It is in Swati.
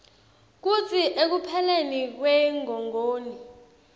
kutsi ekupheleni kwengongoni